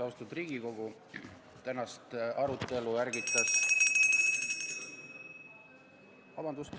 Austatud Riigikogu!